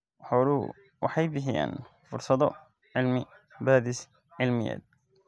Xooluhu waxay bixiyaan fursado cilmi-baadhis cilmiyeed.